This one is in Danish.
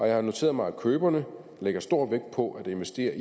jeg har noteret mig at køberne lægger stor vægt på at investere